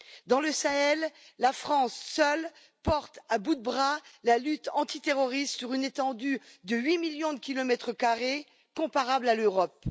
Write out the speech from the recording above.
Dans le Sahel, la France, seule, porte à bout de bras la lutte antiterroriste sur une étendue de huit millions de kilomètres carrés comparable à l'Europe.